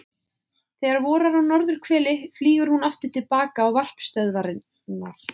Þegar vorar á norðurhveli flýgur hún aftur til baka á varpstöðvarnar.